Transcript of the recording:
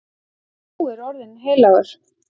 Sá er orðinn heilagur.